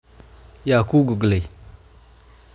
Yaa kugogleey?